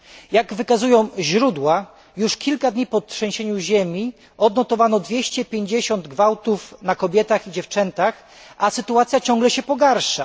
Jak wykazują źródła, już kilka dni po trzęsieniu ziemi odnotowano 250 gwałtów na kobietach i dziewczętach, a sytuacja ciągle się pogarsza.